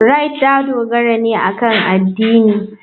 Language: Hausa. Rite ta dogara ne akan addini.